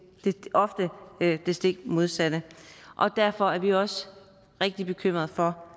ofte det det stik modsatte og derfor er vi også rigtig bekymret for